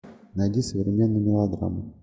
найди современную мелодраму